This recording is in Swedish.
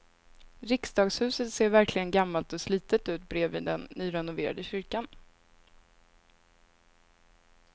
Riksdagshuset ser verkligen gammalt och slitet ut bredvid den nyrenoverade kyrkan.